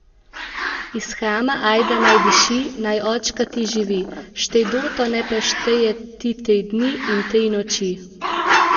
Iz hrama ajda naj diši, naj očka ti živi, štej doto, ne preštej je ti tri dni in tri noči!